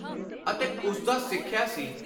ਅਤੇ ਉਸਦਾ ਸਿੱਖਿਆ ਸੀ।